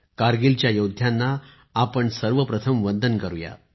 कारगिलच्या योद्ध्यांना आपण सर्व आधी वंदन करूया